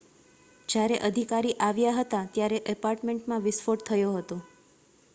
જ્યારે અધિકારી આવ્યા હતા ત્યારે એપાર્ટમેન્ટમાં વિસ્ફોટ થયો હતો